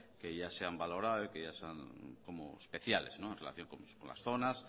que ya se ha valorado y que son como especiales en relación con las zonas